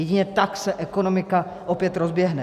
Jedině tak se ekonomika opět rozběhne.